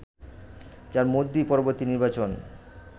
যার মধ্যেই পরবর্তী নির্বাচন